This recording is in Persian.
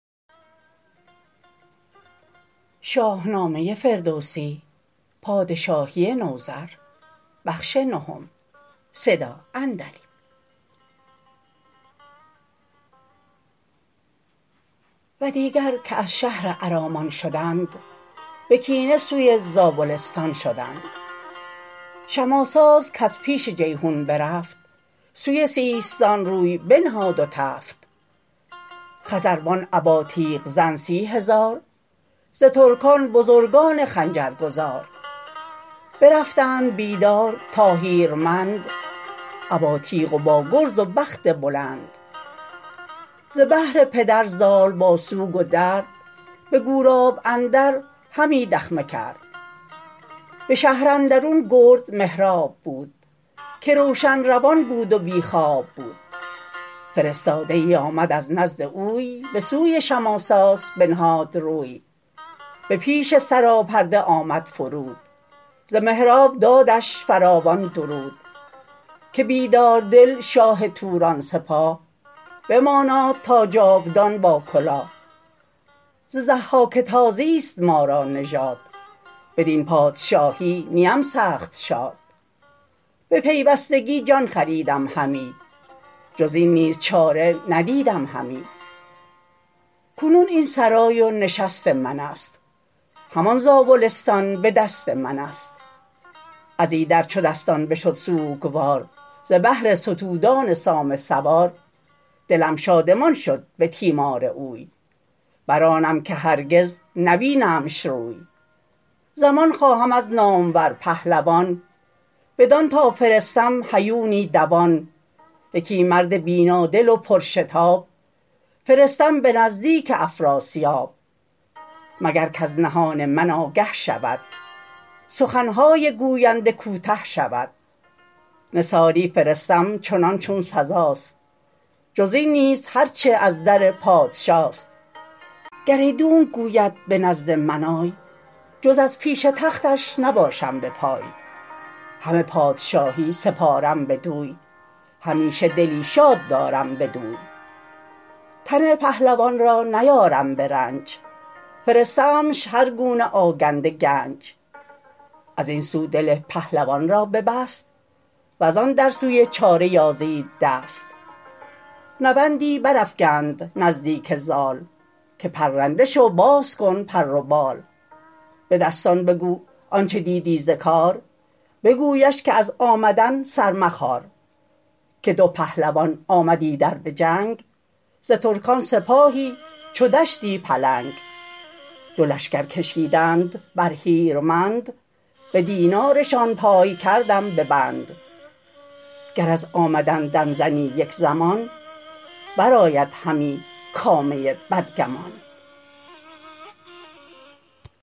و دیگر که از شهر ارمان شدند به کینه سوی زابلستان شدند شماساس کز پیش جیحون برفت سوی سیستان روی بنهاد و تفت خزروان ابا تیغ زن سی هزار ز ترکان بزرگان خنجرگزار برفتند بیدار تا هیرمند ابا تیغ و با گرز و بخت بلند ز بهر پدر زال با سوگ و درد به گوراب اندر همی دخمه کرد به شهر اندرون گرد مهراب بود که روشن روان بود و بی خواب بود فرستاده ای آمد از نزد اوی به سوی شماساس بنهاد روی به پیش سراپرده آمد فرود ز مهراب دادش فراوان درود که بیداردل شاه توران سپاه بماناد تا جاودان با کلاه ز ضحاک تازیست ما را نژاد بدین پادشاهی نیم سخت شاد به پیوستگی جان خریدم همی جز این نیز چاره ندیدم همی کنون این سرای و نشست منست همان زاولستان به دست منست ازایدر چو دستان بشد سوگوار ز بهر ستودان سام سوار دلم شادمان شد به تیمار اوی برآنم که هرگز نبینمش روی زمان خواهم از نامور پهلوان بدان تا فرستم هیونی دوان یکی مرد بینادل و پرشتاب فرستم به نزدیک افراسیاب مگر کز نهان من آگه شود سخنهای گوینده کوته شود نثاری فرستم چنان چون سزاست جز این نیز هرچ از در پادشاست گر ایدونک گوید به نزد من آی جز از پیش تختش نباشم به پای همه پادشاهی سپارم بدوی همیشه دلی شاد دارم بدوی تن پهلوان را نیارم به رنج فرستمش هرگونه آگنده گنج ازین سو دل پهلوان را ببست وزان در سوی چاره یازید دست نوندی برافگند نزدیک زال که پرنده شو باز کن پر و بال به دستان بگو آنچ دیدی ز کار بگویش که از آمدن سر مخار که دو پهلوان آمد ایدر بجنگ ز ترکان سپاهی چو دشتی پلنگ دو لشکر کشیدند بر هیرمند به دینارشان پای کردم به بند گر از آمدن دم زنی یک زمان برآید همی کامه بدگمان